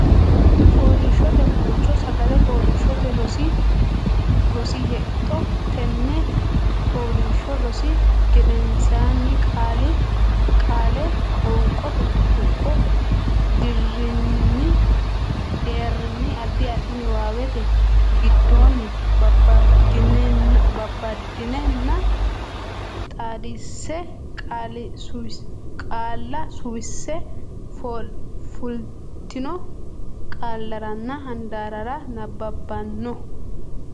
Fooliishshote Guulcho Sagale Fooliishshote Rosi Hexxo Tenne fooliishsho rosi gedensaanni Qaale qoonqote tuqqo deerrinni Addi addi niwaawete giddonni babbaddenna xaadisse qaalla suwisse fultino qaallaranna handaarrara nabbabbanno.